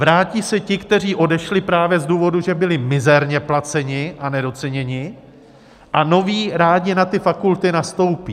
Vrátí se ti, kteří odešli právě z důvodu, že byli mizerně placeni a nedoceněni, a noví rádi na ty fakulty nastoupí.